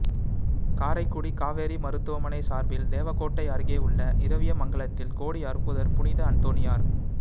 காரைக்குடி காவேரி மருத்துவமனை சாா்பில் தேவகோட்டை அருகேயுள்ள இரவியமங்கலத்தில் கோடி அற்புதா் புனித அந்தோணியாா்